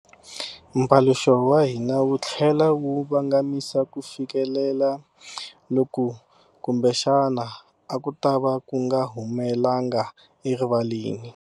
Mpaluxo wa hina wu tlhele wu vangamisa kufikelela loku kumbexana a ku tava ku nga humelanga erivaleni.